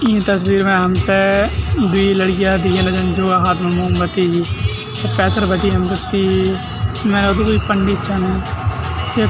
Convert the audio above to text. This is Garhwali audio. ई तस्वीर मा हमथे द्वि लडकियां दिखेला जन जोका हाथो म मोमबत्ती पैथर बटी हमते ती कुई पंडित छन ये --